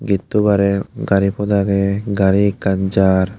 getto bare gari pot age gari ekkan jar.